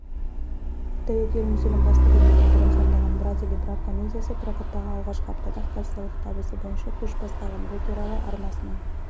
тәуекел мүсілім басты рөлдердің бірін сомдаған брат или брак комедиясы прокаттағы алғашқы аптада-ақ кассалық табысы бойынша көш бастаған бұл туралы арнасының